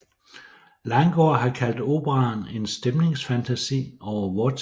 Langgaard har kaldt operaen en stemningsfantasi over vor tid